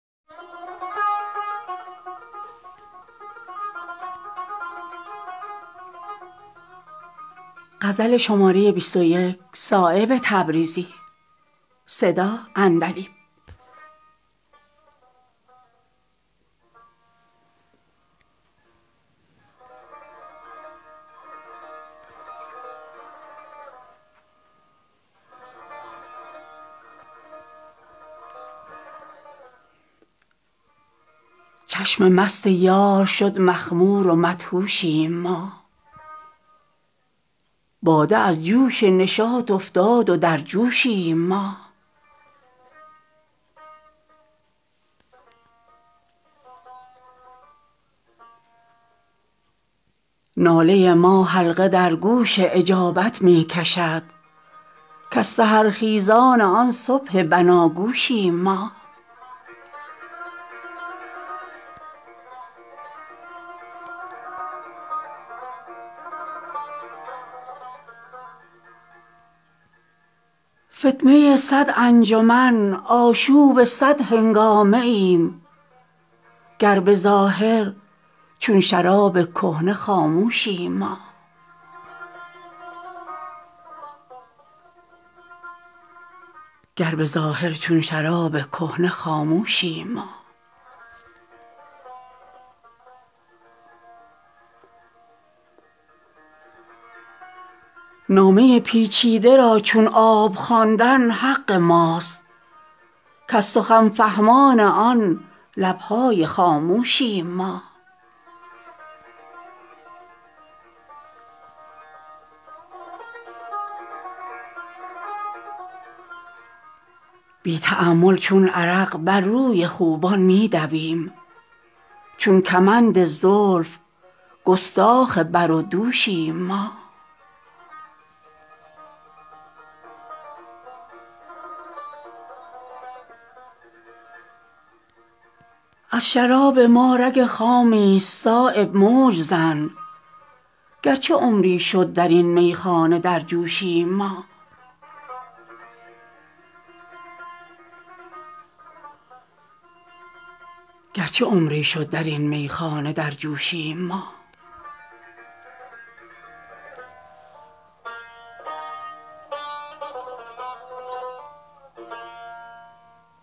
گر به ظاهر چون لب پیمانه خاموشیم ما از ته دل چون خم سربسته در جوشیم ما گر در آن محراب ابرو نیست ما را راه حرف از دعاگویان آن صبح بناگوشیم ما از نسیمی می شود بنیاد ما زیر و زبر بحر هستی را حباب خانه بر دوشیم ما رزق ما از شهد چون زنبور غیر از نیش نیست ورنه این میخانه را صهبای سرجوشیم ما از دل روشن رگ خواب جهان در دست ماست گر به ظاهر همچو چشم یار مدهوشیم ما نعل وارونی بود خمیازه آغوش ما ورنه همچون موج با دریا هم آغوشیم ما گرچه فانوس خیالیم این زمان صایب ز فکر چشم تا بر هم زنی خواب فراموشیم ما